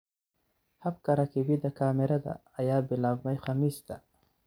Habka rakibida kamerada ayaa bilaabmay Khamiista.